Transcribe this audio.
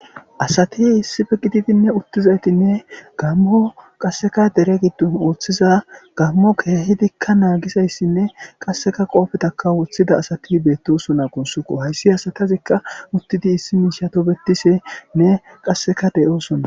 asati issife gididinne uttizaytinne gammo qasseka dere giddon ooththiza gammo keehidikka naagisayssinne qasseka qoofetaka woththida asati beettosona gunsukko hayssi asatazikka uttidi issi miishato bettisenne qasseka deyoosona